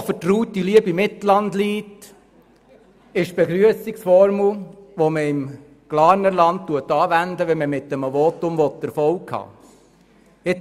Kommissionspräsident der SiK.Hochvertraute liebe Mitlandleute – das ist die Begrüssungsformel, die im Glarnerland anwendet wird, wenn man mit einem Votum Erfolg haben will.